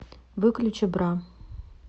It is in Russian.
выключи бра